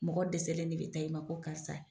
Mɔgɔ dɛsɛlen de bɛ taa i ma ko karisa.